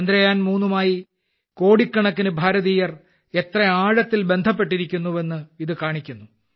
ചന്ദ്രയാൻ 3മായി കോടിക്കണക്കിന് ഭാരതീയർ എത്ര ആഴത്തിൽ ബന്ധപ്പെട്ടിരിക്കുന്നു എന്ന് ഇത് കാണിക്കുന്നു